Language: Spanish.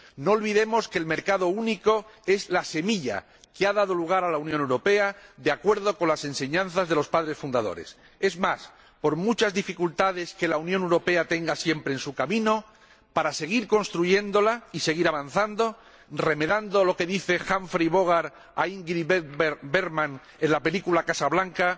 No olvidemos que el mercado único es la semilla que ha dado lugar a la Unión Europea, de acuerdo con las enseñanzas de los padres fundadores. Es más, por muchas dificultades que la Unión Europea tenga siempre en su camino, para seguir construyéndola y seguir avanzando, remedando lo que dice Humphrey Bogart a Ingrid Bergman en la película Casablanca